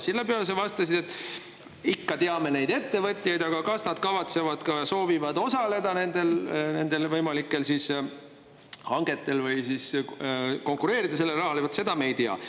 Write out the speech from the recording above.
Selle peale sa vastasid, et ikka, me teame neid ettevõtjaid, aga kas nad kavatsevad, soovivad osaleda nendel võimalikel hangetel või konkureerida sellele rahale, vaat seda me ei tea.